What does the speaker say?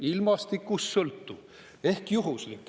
Ilmastikust sõltuv ehk juhuslik.